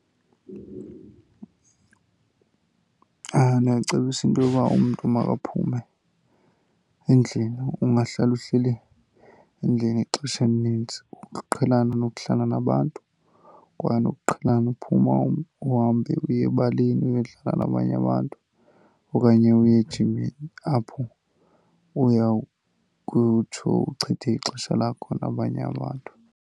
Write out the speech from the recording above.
Ndingacebisa into yoba umntu makaphume endlini, ungahlali uhleli endlini ixesha elinintsi. Ukuqhelana nokuhlala nabantu kwaye nokuqhelana uphuma uhambe uye ebaleni uyodlala nabanye abantu okanye uye ejimini apho uyawukutsho uchithe ixesha lakho nabanye abantu.